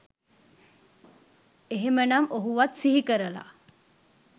එහෙමනම් ඔහුවත් සිහි කරලා